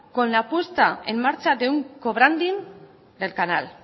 con la puesta en marcha de un co branding del canal